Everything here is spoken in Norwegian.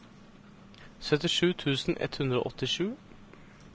syttisju tusen ett hundre og åttisju